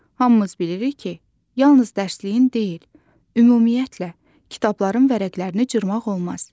Hamımız bilirik ki, yalnız dərsliyin deyil, ümumiyyətlə, kitabların vərəqlərini cırmaq olmaz.